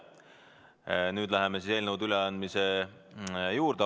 Nüüd läheme eelnõude üleandmise juurde.